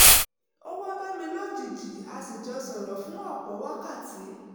ó wá bá mi lójijì a sì jọ sọ̀rọ̀ fún ọ̀pọ̀ wákàtí